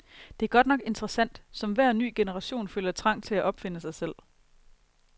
Det er godt nok interessant, som hver ny generation føler trang til at opfinde sig selv.